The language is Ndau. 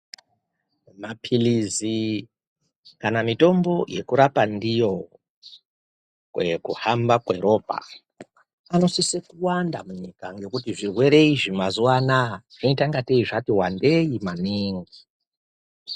Maphilizi kana mitombo yekurapa ndiyo kuhamba kweropa anosise kuwanda munyika ngekuti zvirwere izvi mazuva anaya zvinoite ingatei zvati wandei maningi.